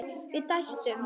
Við dæstum.